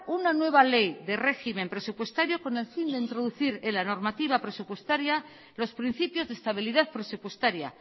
una nueva ley de régimen presupuestario con el fin de introducir en la normativa presupuestaria los principios de estabilidad presupuestaria